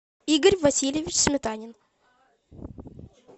игорь васильевич сметанин